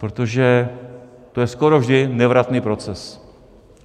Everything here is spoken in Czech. Protože to je skoro vždy nevratný proces.